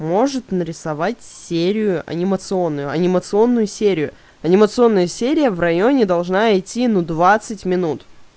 может нарисовать серию анимационную анимационную серию анимационная серия в районе должна идти ну двадцать минут